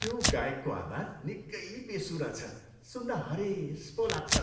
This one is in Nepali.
त्यो गायकको आवाज निकै बेसुरा छ। सुन्दा हरेस पो लाग्छ।